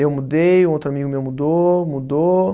Eu mudei, um outro amigo meu mudou, mudou.